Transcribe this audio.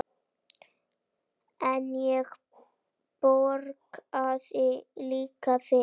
En ég borgaði líka fyrir.